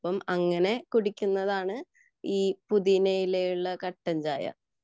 അപ്പം അങ്ങനെ കുടിക്കുന്നതാണ് പുതിയനയുള്ള കട്ടൻ ചായ